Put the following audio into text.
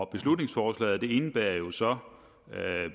beslutningsforslaget indebærer jo så